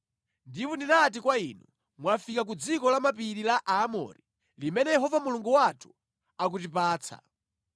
Ndipo ndinati kwa inu, “Mwafika ku dziko la mapiri la Aamori, limene Yehova Mulungu wathu akutipatsa.